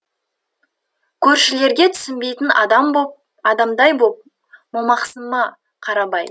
көршілерге түсінбейтін адамдай боп момақансыма қарабай